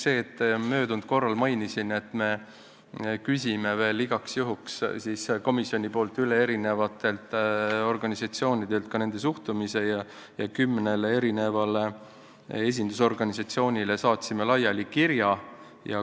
Möödunud korral mainisin, et komisjon küsib veel igaks juhuks üle eri organisatsioonidelt ka nende suhtumise ja me saatsime kümnele esindusorganisatsioonile kirja.